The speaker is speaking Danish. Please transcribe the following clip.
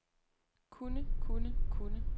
kunnne kunnne kunnne